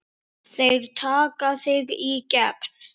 Þeir taka þig í gegn!